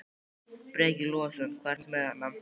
Breki Logason: Hvað ertu með þarna?